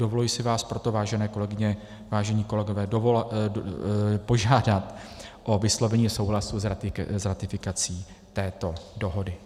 Dovoluji si vás proto, vážené kolegyně, vážení kolegové, požádat o vyslovení souhlasu s ratifikací této dohody.